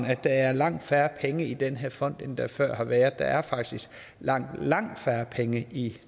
at der er langt færre penge i den her fond end der før har været der er faktisk langt langt færre penge i